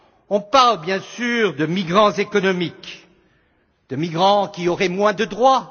On parle bien sûr de migrants économiques, de migrants qui auraient moins de droits.